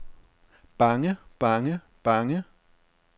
bange bange bange